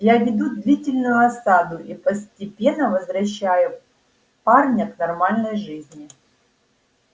я веду длительную осаду и постепенно возвращаю парня к нормальной жизни